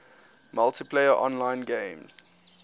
multiplayer online games